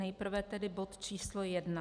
Nejprve tedy bod číslo jedna: